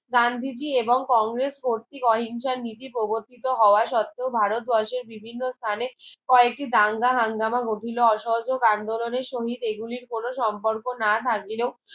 গান্ধীজি এবং কংগ্রেস কর্তী অহিংসার নীতি প্রগতিত হওয়া সত্ত্বেও ভারত বর্ষের বিভিন্ন স্থানে কয়েকটি দাঙ্গা হাঙ্গামা ঘটিল অসহযোগ আন্দোলনের শহীদ এইগুলির কোনো সম্পর্ক না থাকিলেও